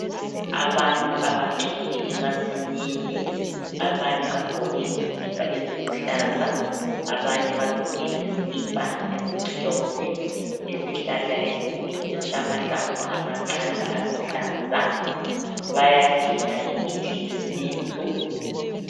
Abantu abagcwele emasimini abanye bagqoke izikipa eziluhlaza abanye bagqoke izikipa ezimhlophe isihlahla esikhulu esilamahlamvu amancane aluhlaza bayadinga imithi yesintu